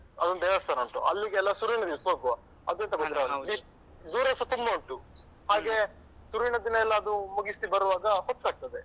ಅಲ್ಲೊಂದು ದೇವಸ್ಥಾನ ಉಂಟು ಅಲ್ಲಿಗೆಲ್ಲ ಶುರುವಿನ ದಿವ್ಸ ಹೋಗುವ. ಅದು ಎಂತ ಗೊತ್ತುಂಟ ದೂರಸ ತುಂಬಾ ಉಂಟು ಹಾಗೆ ಶುರುವಿನ ದಿನಯೆಲ್ಲ ಅದು ಮುಗಿಸಿ ಬರುವಾಗ ಹೊತ್ತಾಗ್ತದೆ.